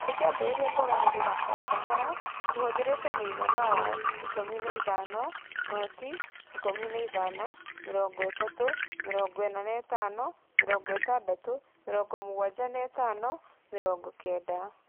Tũkĩambĩrĩria kũgarũrĩra o kahora tũhũthĩrĩte mũigana wa 15 , 0,15,30,45,60,75,90